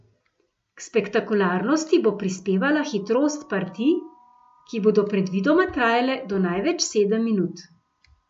K spektakularnosti bo prispevala hitrost partij, ki bodo predvidoma trajale do največ sedem minut.